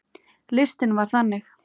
Listinn var þannig